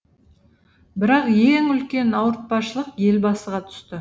бірақ ең үлкен ауыртпашылық елбасыға түсті